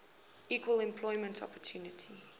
equal employment opportunity